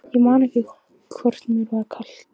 Ég man ekki hvort mér var kalt.